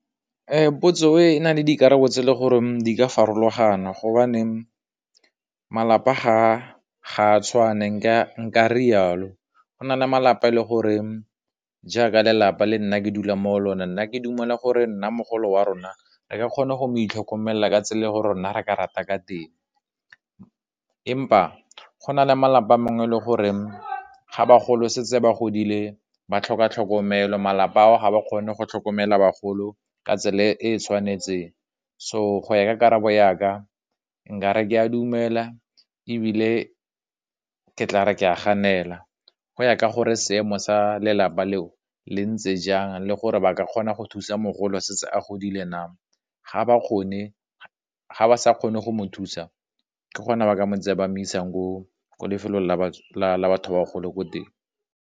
Potso e na le dikarabo tse le gore di ka farologana gobane malapa ga tshwane, ka nkare yalo go na le malapa le gore jaaka lelapa le nna ke dula mo go lone nna ke dumela gore nna mogolo wa rona re ka kgona go itlhokomela ka tsela ya rona ra ka rata ka teng, empa go na le malapa a mangwe le gore ga ba golo setse ba godile ba tlhoka tlhokomelo, malapa ao ga ba kgone go tlhokomela bagolo ka tsela e e tshwanetseng, so go ya ka karabo yaka nkare ke a dumela, ebile ke tla re ke a ganela, go ya ka gore seemo sa lelapa leo le ntse jang, le gore ba ka kgona go thusa mogolo a setse a godile na, ga ba sa kgone go mo thusa, ke gona ba ka ba mo isang ko lefelong la batho ba ko teng.